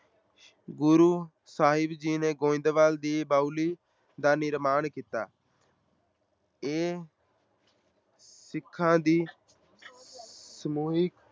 ਗੁਰੂ ਸਾਹਿਬ ਜੀ ਨੇ ਗੋਇੰਦਵਾਲ ਦੀ ਬਾਉਲੀ ਦਾ ਨਿਰਮਾਣ ਕੀਤਾ ਇਹ ਸਿੱਖਾਂ ਦੀ ਸਮੂਹਿਕ